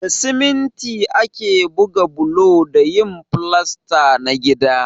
Da siminti ake buga bulo da yin filasta na gida.